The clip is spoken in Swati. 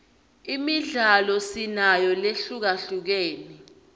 imidlalo sinayo lehlukahlukene